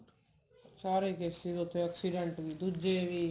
ਸਾਰੇ cases ਉੱਥੇ accident ਵੀ ਦੁੱਜੇ ਵੀ